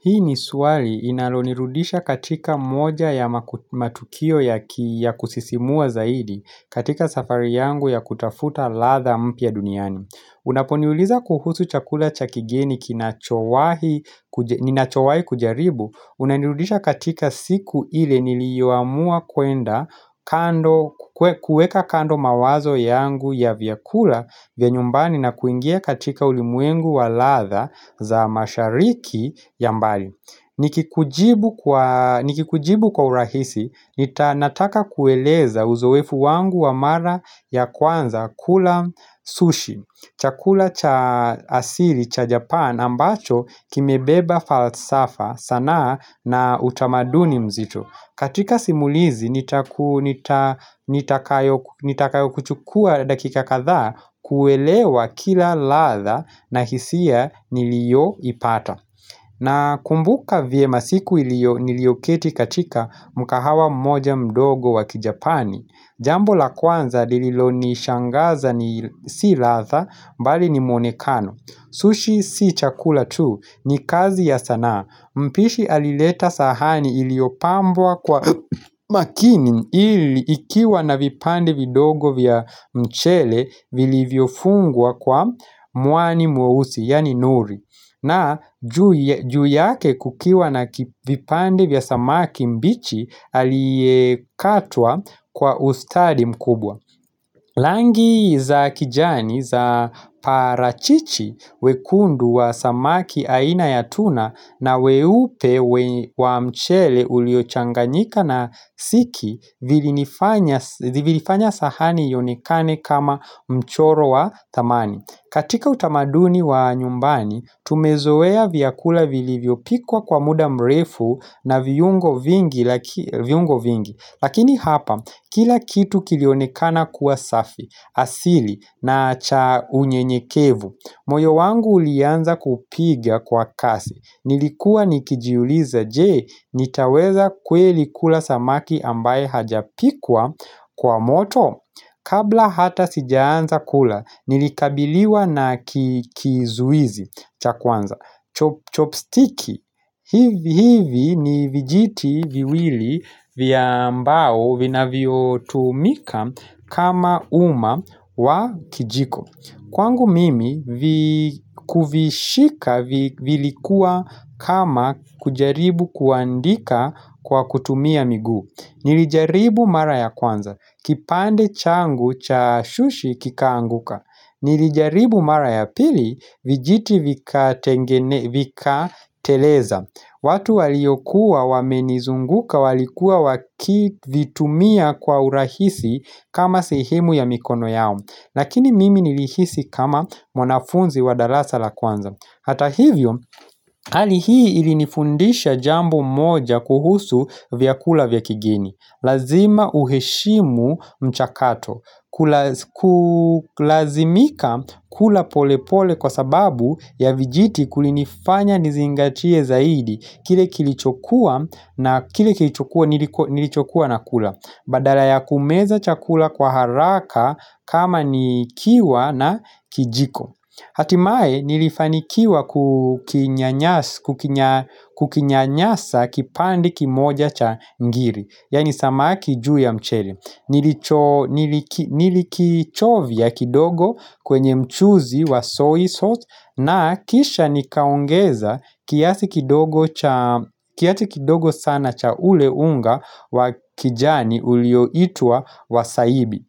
Hii ni swali inalonirudisha katika moja ya matukio ya kusisimua zaidi katika safari yangu ya kutafuta ladha mpya duniani. Unaponiuliza kuhusu chakula cha kigeni kinachowahi ninachowahi kujaribu, Unanirudisha katika siku ile niliyoamua kwenda kando kuweka kando mawazo yangu ya vyakula vya nyumbani na kuingia katika ulimwengu wa ladha za mashariki ya mbali Nikikujibu kwa urahisi Nita nataka kueleza uzoefu wangu wa mara ya kwanza kula sushi. Chakula cha asili cha Japan ambacho kimebeba falsafa, sanaa na utamaduni mzito. Katika simulizi nitakayokuchukua dakika kadhaa kuelewa kila ladha na hisia niliyoipata. Nakumbuka vyema siku ilio niliyoketi katika mkahawa moja mdogo waki Japani. Jambo la kwanza liililonishangaza ni si ladha bali ni muonekano. Sushi si chakula tu ni kazi ya sanaa Mpishi alileta sahani iliyopambwa kwa makini ili ikiwa na vipande vidogo vya mchele vilivyofungwa kwa mwani mweusi yaani nuri na juu yake kukiwa na vipande vya samaki mbichi aliyekatwa kwa ustadi mkubwa. Rangi za kijani za parachichi, wekundu wa samaki aina ya tuna na weupe wa mchele uliochanganyika na siki vilinifanya Ziliifanya sahani ionekane kama mchoro wa thamani. Katika utamaduni wa nyumbani tumezoea vyakula vilivyopikwa kwa muda mrefu na viungo vingi lakini hapa kila kitu kilionekana kuwa safi, asili na cha unyenyekevu moyo wangu ulianza kupiga kwa kasi Nilikuwa nikijiuliza je, nitaweza kweli kula samaki ambaye hajapikwa kwa moto Kabla hata sijaanza kula Nilikabiliwa na kizuizi cha kwanza Chopstick hivi ni vijiti viwili vya mbao vinavyotumika kama uma wa kijiko Kwangu mimi kuvishika vilikuwa kama kujaribu kuandika kwa kutumia miguu Nilijaribu mara ya kwanza, kipande changu cha sushi kikaanguka Nilijaribu mara ya pili, vijiti vikateleza watu waliokuwa wamenizunguka walikuwa wakivitumia kwa urahisi kama sehemu ya mikono yao. Lakini mimi nilihisi kama mwanafunzi wa darasa la kwanza. Hata hivyo, hali hii ilinifundisha jambo moja kuhusu vyakula vya kigeni Lazima uheshimu mchakato Kulazimika kula pole pole kwa sababu ya vijiti kulinifanya nizingatie zaidi Kile kilichokuwa na kile kilichokuwa nilichokuwa nakula. Badala ya kumeza chakula kwa haraka kama nikiwa na kijiko Hatimaye nilifanikiwa kukinyanyasa kipande kimoja cha ngiri. Yaani samaki juu ya mchele. Nilikichovya kidogo kwenye mchuzi wa soy sauce na kisha nikaongeza kiasi kidogo sana cha ule unga wa kijani ulioitwa wasaibi.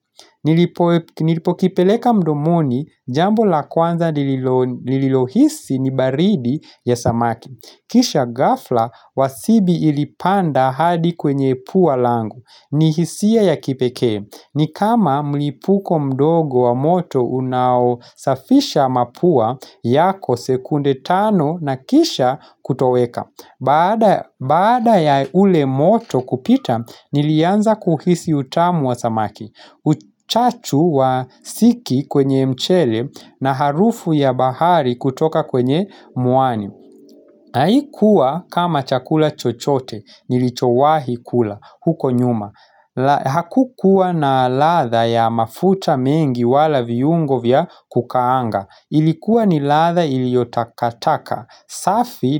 Nilipokipeleka mdomoni jambo la kwanza nililohisi ni baridi ya samaki. Kisha ghafla wasibi ilipanda hadi kwenye pua langu. Ni hisia ya kipekee. Ni kama mlipuko mdogo wa moto unaosafisha mapua yako sekunde tano na kisha kutoweka. Baada Baada ya ule moto kupita, nilianza kuhisi utamu wa samaki. Uchachu wa siki kwenye mchele na harufu ya bahari kutoka kwenye mwani. Haikuwa kama chakula chochote, nilichowahi kula huko nyuma. Hakukuwa na ladha ya mafuta mengi wala viungo vya kukaanga Ilikuwa ni ladha iliyotakata safi na.